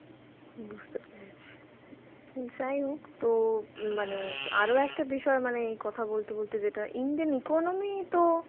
বুঝতে পেরেছি, যাই হোক তো মানে আরও একটা বিষয়ে মানে এই কথা বলতে বলতে যেটা Indian economy তো